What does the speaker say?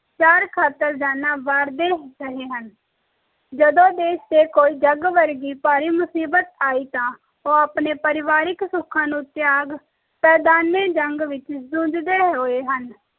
sir ਖਾਤਰ ਜਾਣਾ ਵਾਰਦੇ ਰਹੇ ਹਨ ਜਦੋ ਦੇਸ਼ ਤੇ ਕੋਈ ਜਾਗ ਵਰਗੀ ਭਾਰੀ ਮੁਸਬੀਤ ਆਈ ਤਾ ਉਹ ਆਪਣੇ ਪਰਿਵਾਰਿਕ ਸੁਖਾਂ ਨੂੰ ਤਯਾਗ ਮੈਦਾਨ ਏ ਜੰਗ ਵਿਚ ਜੂਝਦੇ ਹੋਏ ਹਨ